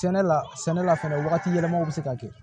Sɛnɛ la sɛnɛ la fɛnɛ wagati yɛlɛmaw be se ka kɛ